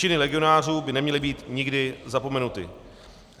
Činy legionářů by neměly být nikdy zapomenuty.